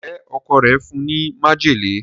Njé Ọkọ rẹ fún ní májèlé?